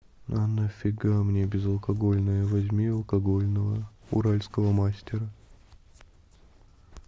а нафига мне безалкогольное возьми алкогольного уральского мастера